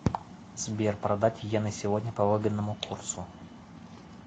сбер продать йены сегодня по выгодному курсу